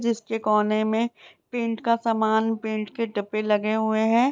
जिसके कोने में पेंट का सामान पेंट के डब्बे लगे हुए हैं।